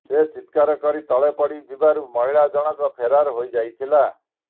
ସେ ଚିତ୍କାର କରି ତଳେ ପଡ଼ି ଯିବାରୁ ମହିଳା ଜଣକ ଫେରାର୍ ହୋଇଯାଇଥିଲା